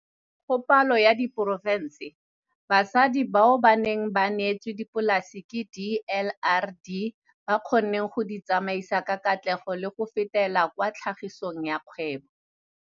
Go palo ya diporofense, basadi bao ba neng ba neetswe dipolase ke DLRD ba kgonne go di tsamaisa ka katlego le go fetela kwa tlhagisong ya kgwebo.